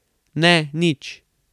Ne, nič.